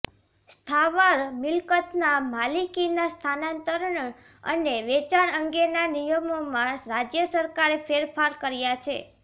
સ્થાવર મિલકતના માલિકીના સ્થાનાંતરણ અને વેચાણ અંગેના નિયમોમાં રાજ્ય સરકારે ફેરફાર કર્યા છે